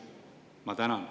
Ma tänan.